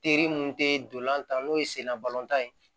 Teri mun te dolantan n'o ye senna balɔntan ye